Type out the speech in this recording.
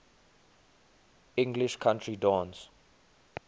english country dance